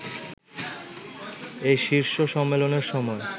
এই শীর্ষ সম্মেলনের সময়